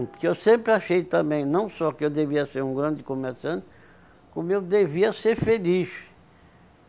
Porque eu sempre achei também, não só que eu devia ser um grande comerciante, como eu devia ser feliz.